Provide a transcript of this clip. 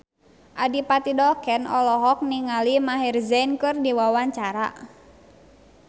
Adipati Dolken olohok ningali Maher Zein keur diwawancara